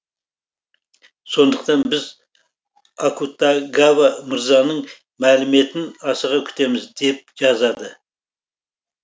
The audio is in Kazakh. сондықтан біз акутагава мырзаның мәліметін асыға күтеміз деп жазады